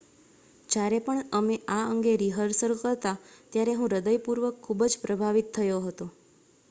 """જ્યારે પણ અમે આ અંગે રિહર્સલ કરતા ત્યારે હું હૃદયપૂર્વક ખૂબ જ પ્રભાવિત થયો હતો.""